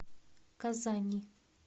казани